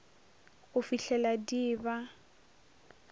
go fihlela di e ba